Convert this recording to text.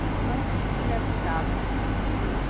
Está andando como se estivesse em casa.